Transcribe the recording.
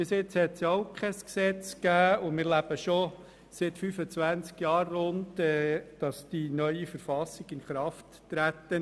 Bisher gab es auch kein Gesetz, und damit leben wir schon seit dem Inkrafttreten der neuen Verfassung vor rund 25 Jahren.